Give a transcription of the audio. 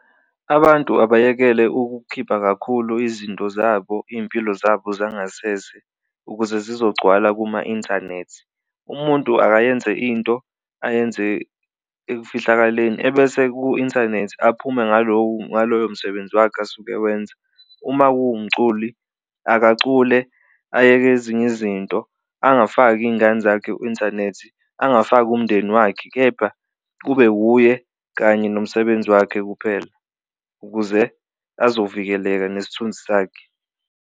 Abantu abayekele ukukhipha kakhulu izinto zabo iy'mpilo zabo zangasese ukuze zizogcwala kuma-inthanethi, umuntu akayenze into ayenze ekufihlakaleni ebese ku-inthanethi aphume ngaloku ngaloyo msebenzi wakhe asuke wenza. Uma kuwumculi akacule ayeke ezinye izinto angafaki iy'ngane zakhe u-inthanethi, angafaki umndeni wakhe kepha kube wuye kanye nomsebenzi wakhe kuphela ukuze azovikeleka nesithunzi sakhe.